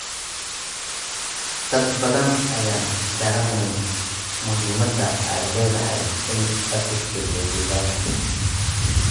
Dad badan ayaan garanayn muhiimadda ay leedahay in la tixgeliyo deegaanka.